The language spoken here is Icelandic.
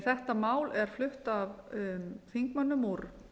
þetta mál er flutt af þingmönnum úr